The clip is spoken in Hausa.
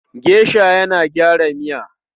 Gesha yana gyara miya.